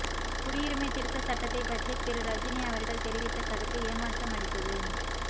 குடியுரிமைத் திருத்தச் சட்டத்தைப் பற்றி திரு ரஜினி அவர்கள் தெரிவித்த கருத்து ஏமாற்றமளித்தது